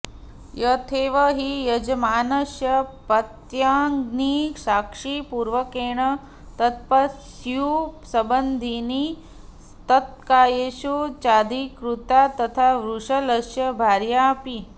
यथैव हि यजमानस्य पत्न्यग्निसाक्षिपूर्वकेण तत्पत्युः सम्बन्धिनी तत्कार्येषु चाधिकृता तथा वृषलस्य भार्याऽपि